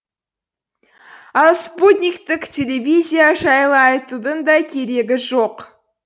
ал спутниктік телевизия жайлы айтудың да керегі жоқ